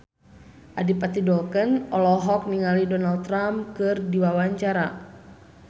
Adipati Dolken olohok ningali Donald Trump keur diwawancara